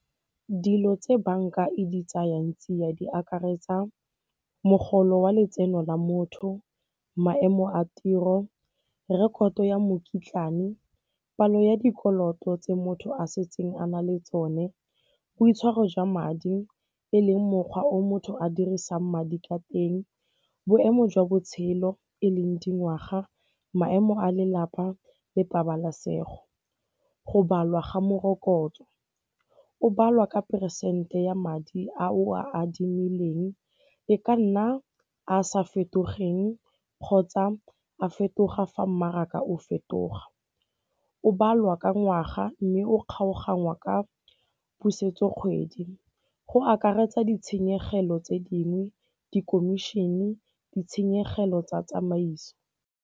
Dilo tse banka e di tseyang tsia di akaretsa mogolo wa letseno la motho, maemo a tiro, rekoto ya mokitlane, palo ya dikoloto tse motho a setseng a na le tsone, boitshwaro jwa madi e leng mokgwa o motho a dirisang madi ka teng, boemo jwa botshelo e leng dingwaga, maemo a lelapa le pabalesego. Go balwa ga morokotso, go balwa ka phesente ya madi a o a adimileng e ka nna a sa fetogeng kgotsa a fetoga fa mmaraka o fetoga. O balwa ka ngwaga mme o kgaoganngwa ka pusetso kgwedi, go akaretsa ditshenyegelo tse dingwe, dikomišene, ditshenyegelo tsa tsamaiso.